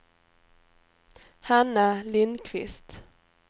Hanna Lindkvist